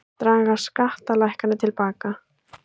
Draga skattalækkanir til baka